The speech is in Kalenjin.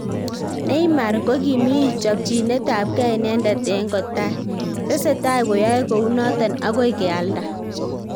Neymar kogimii chopchinet ab kee inendet en kotai, tsetai koyae kounoton agoi kealda.